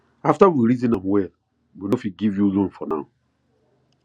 after we reason am well we no fit give you loan for now